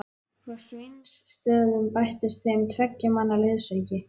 Frá Sveinsstöðum bættist þeim tveggja manna liðsauki.